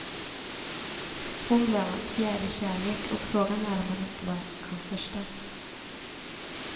Hon blev hans fjärde kärlek och frågan är om hon inte var hans största.